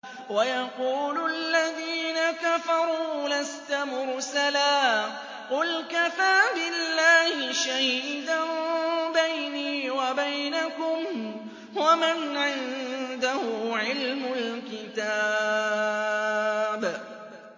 وَيَقُولُ الَّذِينَ كَفَرُوا لَسْتَ مُرْسَلًا ۚ قُلْ كَفَىٰ بِاللَّهِ شَهِيدًا بَيْنِي وَبَيْنَكُمْ وَمَنْ عِندَهُ عِلْمُ الْكِتَابِ